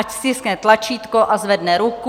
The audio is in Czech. Ať stiskne tlačítko a zvedne ruku.